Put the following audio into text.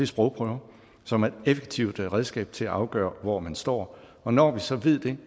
sprogprøver som er et effektivt redskab til at afgøre hvor man står og når vi så ved det